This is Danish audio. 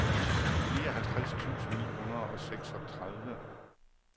nioghalvtreds tusind ni hundrede og seksogtredive